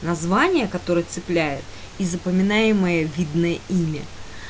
название которое цепляют и запоминаемое видное имя